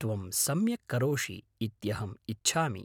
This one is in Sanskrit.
त्वं सम्यक् करोषि इत्यहम् इच्छामि।